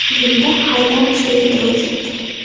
Bunda Haydarovga e’tiroz yo‘q.